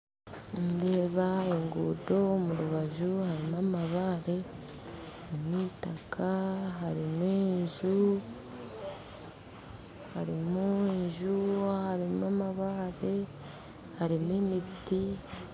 Nindeba enguudo omu rubaju harimu amabaare omwitaka hariho enju harimu enju harimu amabaare harimu emiti